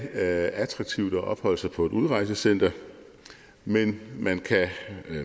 attraktivt at opholde sig på et udrejsecenter men man kan